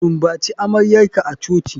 Sumbaci amaryarka a coci.